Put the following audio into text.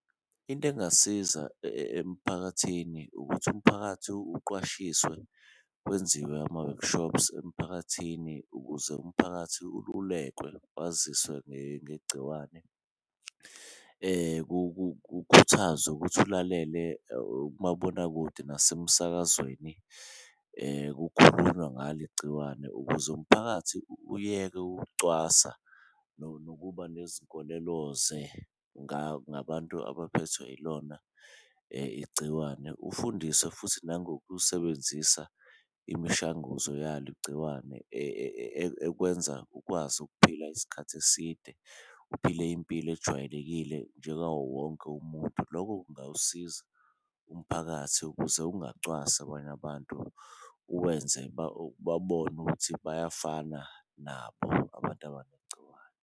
Into engasiza emphakathini ukuthi umphakathi uqwashiswe kwenziwe ama-workshops emphakathini, ukuze umphakathi ulululekwe waziswe ngegciwane, kukhuthazwe ukuthi ulalele umabonakude nasemsakazweni. Kukhulunywa ngalo igciwane ukuze umphakathi uyeke ukucwasa nokuba nezinkoleloze ngabantu abaphethwe ilona igciwane, ufundiswe futhi nangokusebenzisa imishanguzo yalo igciwane. Ekwenza ukwazi ukuphila isikhathi eside uphile impilo ejwayelekile njengawo wonke umuntu, loko kungawusiza umphakathi ukuze ungacwasi abanye abantu, uwenze babone ukuthi bayafana nabo abantu abanegciwane.